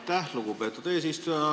Aitäh, lugupeetud eesistuja!